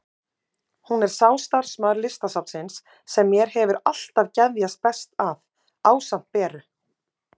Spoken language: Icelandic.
Hún er sá starfsmaður Listasafnsins sem mér hefur alltaf geðjast best að, ásamt Beru.